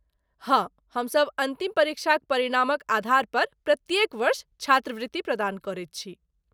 हँ, हमसभ अन्तिम परीक्षाक परिणामक आधारपर प्रत्येक वर्ष छात्रवृत्ति प्रदान करैत छी।